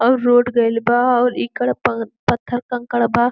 अउर रोड गईल बा और ईकर पत्थर कंकर बा।